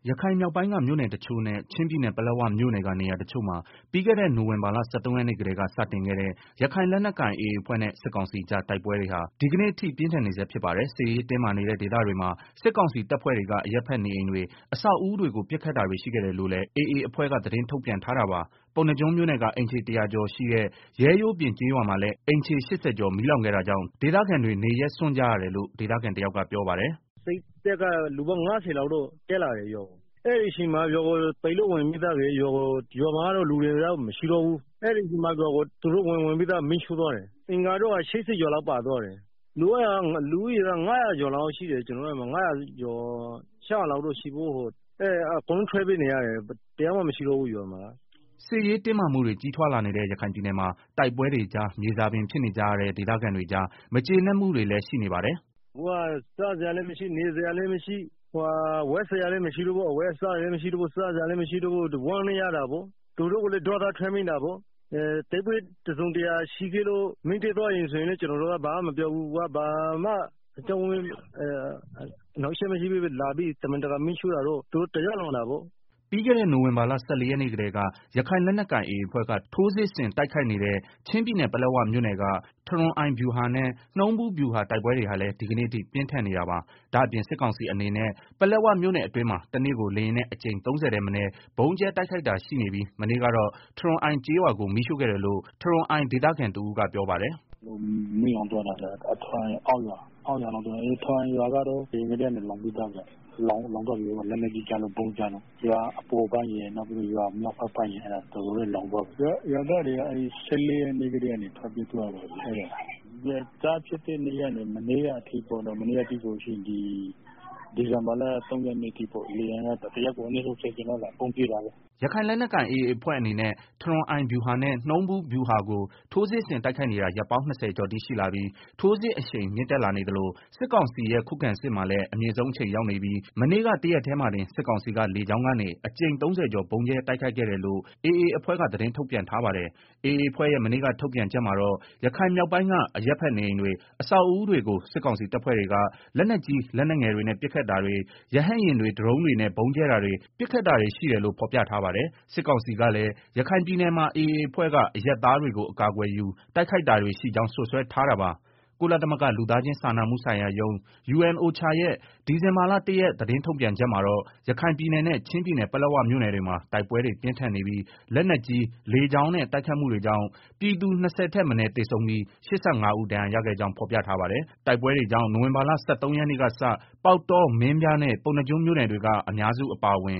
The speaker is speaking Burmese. ရခိုင်မြောက်ပိုင်းက မြို့နယ်တချို့နဲ့ ချင်းပြည်နယ်ပလက်ဝမြို့နယ်က နေရာတချို့မှာ ပြီးခဲ့တဲ့ နိုဝင်ဘာလ ၁၃ရက်နေ့ကတည်းက စတင်ခဲ့တဲ့ ရခိုင်လက်နက်ကိုင်AAအဖွဲ့နဲ့ စစ်ကောင်စီကြား တိုက်ပွဲတွေဟာ ဒီကနေ့ပြင်းဆန်နေဆဲဖြစ်ပါတယ်။ စစ်ရေးတင်းမာနေတဲ့ ဒေသတွေမှာ စစ်ကောင်စီတပ်ဖွဲ့တွေက အရပ်ဘက်နေအိမ်တွေ၊ အဆောက်အဦးတွေကို ပစ်ခတ်တာတွေ ရှိခဲ့တယ်လို့လည်း AA အဖွဲ့က သတင်းထုတ်ပြန်ထားတာပါ။ ပုဏ္ဏားကျွန်းမြို့နယ်က အိမ်ခြေ ၁၀၀ ကျော်ရှိတဲ့ ရဲရိုးပြင်ကျေးရွာမှာလည်း အိမ်ခြေ ၈ဝ ကျော် မီးလောင်ခဲ့တာကြောင့် ဒေသခံတွေ နေရပ်စွန့်ကြရတယ်လို့ ဒေသခံတယောက်ကပြောပါတယ်။ “စစ်တပ်က လူပေါင်း ၅ဝလောက်တက်လာတယ်ရွာကို အဲဒီအချိန်မှာ ရွာကို ပစ်ပြီးတော့ ဝင်လာတယ်၊ ရွာမှာလူတွေတော့ မရှိတော့ဘူး၊ အဲဒီမှာ သူတို့ မီးရှို့သွားတယ်၊ အိမ်က ၈ဝကျော်လောက် ပြာကျသွားတယ်၊ ကျနော်တို့ရွာမှာ လူဦးရေး ၅ဝဝကျော် ၆ဝဝနီးပါးရှိတယ် အကုန်လုံးထွက်ပြေးနေရတယ်။ တယောက်မှမရှိတော့ဘူး ရွာမှာက။” စစ်ရေးတင်းမာမှုတွေ ကြီးထွားလာနေတဲ့ ရခိုင်ပြည်နယ်မှာ တိုက်ပွဲတွေကြား မြေစာပင်ဖြစ်နေကြရတဲ့ ဒေသခံတွေကြား မကျေနပ်မှုတွေလည်း ရှိနေပါတယ်။ “အခုက စားစရာလည်းမရှိ နေစရာလည်းမရှိ အဝတ်အစားတွေလည်းမရှိတော့ဘူးဆိုတော့ ဝမ်းနည်းရတာပေါ့၊ သူတို့ကိုလည်း ဒေါသထွက်မိတာပေါ့၊ တိုက်ပွဲတစုံတရာရှိလို့ မီးရှို့သွားတယ်ဆိုရင်လည်း ကျနော်တို့ ဘာမှ မပြောပါဘူး။ အခုက ဘာမှတိုက်ပွဲဖြစ်တာ မရှိဘဲနဲ့ လာညပီးတော့ တမင်တကာ မီးရှို့တာကတော့ တရားလွန်တာပေါ့။” ပြီးခဲ့တဲ့ နိုဝင်ဘာလ ၁၄ရက်နေ့ကတည်းက ရခိုင်လက်နက်ကိုင် AA အဖွဲ့က ထိုးစစ် ဆင် တိုက်ခိုက်နေတဲ့ ချင်းပြည်နယ်ပလက်ဝမြို့နယ်က ထရွန်အိုင်ဗျူးဟာနဲ့ နှုံးဗူးဗျုဟာ တိုက်ပွဲတွေဟာလည်း ဒီကနေ့အထိ ပြင်းထန်နေတာပါ။ ဒါ့အပြင် စစ်ကောင်စီအနေနဲ့ ပလက်ဝမြို့နယ်အတွင်းမှာတနေ့ကို လေယာဉ်နဲ့ အကြိမ် ၃ဝထက်မနည်း ဗုံးကြဲတိုက်ခိုက်တာရှိပြီး မနေ့ကတော့ ထရွန်အိုင်ကျေးရွာကို မီးရှို့ခဲ့တယ်လို့ ထရွန်အိုင်ဒေသခံတဦးကပြောပါတယ်။ “မီးလောင်သွားတာက ထရွန်အိုင်အောက်ရွာ ထရွန်အိုင်ရွာကတော့ အရင်ကတည်းကနေ လောင်ပြီးသားဗျာ၊လက်နက်ကြီးကျလို့ ဗုံးကျလို့ ရွာအပေါ်ပိုင်းရယ် ရွာအောက်ဖက်ပိုင်း ရယ်တော်တော်လောင်သွားပြီ၊ ရွာသားတွေကတော့ ၁၄ရက်နေ့ကတည်း ကနေထွက် ပြေးသွားကြပြီ။ စဖြစ်တဲ့နေ့ကနေ မနေ့ကအထိ လေယာဉ်က တရက်လို့ ကြိမ် ၃ဝလောက် လာပြီးတော့ ဗုံးကြဲတာပေါ့။” ရခိုင်လက်နက်ကိုင် AA အဖွဲ့နဲ့ ထရွန်အိုင်ဗျူးဟာနဲ့ နှုံးဗူးဗျုဟာကို ထိုးစစ်ဆင်တိုက်ခိုက်နေတာ ရက်ပေါင်း ၂ဝကျော်အထိရှိလာပြီး ထိုးစစ်အရှိန်မြင့်တက်လာနေသလို စစ်ကောင်စီရဲ့ခုခံစစ်မှာ လည်း အမြင့်ဆုံးအချိန်ရောက်နေပြီး မနေ့ကတရက်တည်းမှာတင် စစ်ကောင်စီက လေကြောင်းကနေ အကြိမ် ၃ဝကျော် ဗုံးကြဲတိုက်ခိုက်ခဲ့တယ်လို့ AA အဖွဲ့က သတင်းထုတ်ပြန်ထားပါတယ်။ AA အဖွဲ့ရဲ့ မနေ့က ထုတ်ပြန်ချက်မှာတော့ ရခိုင်မြောက်ပိုင်းက အရပ်ဖက် နေအိမ်တွေ၊ အဆောက်အဦးတွေကို စစ်ကောင်စီ တပ်ဖွဲ့တွေက လက်နက်ကြီး လက်နက်ငယ်တွေနဲ့ပစ်ခတ်တာတွေ ရဟတ်ယာဉ်တွေ ဒရုန်းတွေနဲ့ ဗုံးကြဲတာတွေ ပစ်ခတ်တာတွေရှိတယ်လို့ ဖော်ပြထားပါတယ်။ စစ်ကောင်စီကလည်း ရခိုင်ပြည်နယ်မှာ AA အဖွဲ့က အရပ်သားတွေကို အကာအကွယ်ယူ တိုက်ခိုက်တာတွေရှိကြောင်း စွပ်စွဲထားတာပါ။ ကုလသမဂ္ဂ လူသားချင်းစာနာမှုဆိုင်ရာရုံး (UNOCHA) ရဲ့ ဒီဇင်ဘာလ ၁ ရက် သတင်းထုတ်ပြန်ချက်မှာတော့ ရခိုင်ပြည်နယ်နဲ့ ချင်းပြည်နယ် ပလက်ဝမြို့နယ်တွေမှာ တိုက်ပွဲတွေ ပြင်းထန်နေပြီး လက်နက်ကြီး၊ လေကြောင်းနဲ့ တိုက်ခိုက်မှုတွေကြောင့် ပြည်သူ ၂၀ ထက်မနည်း သေဆုံးပြီး ၈၅ ဦး ဒဏ်ရာရခဲ့ကြောင်း ဖော်ပြထားပါတယ်။ တိုက်ပွဲတွေကြောင့် နိုဝင်ဘာလ ၁၃ ရက်နေ့ကစ ပေါက်တော၊ မင်းပြားနဲ့ ပုဏ္ဏားကျွန်းမြို့နယ်တွေက အများစု အပါအဝင်